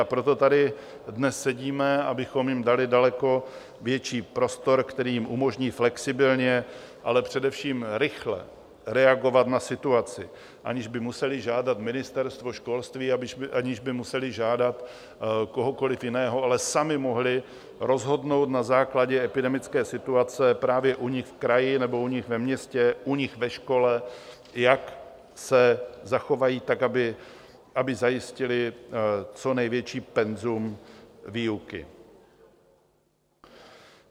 A proto tady dnes sedíme, abychom jim dali daleko větší prostor, který jim umožní flexibilně, ale především rychle reagovat na situaci, aniž by museli žádat Ministerstvo školství, aniž by museli žádat kohokoli jiného, ale sami mohli rozhodnout na základě epidemické situace právě u nich v kraji nebo u nich ve městě, u nich ve škole, jak se zachovají, tak aby zajistili co největší penzum výuky.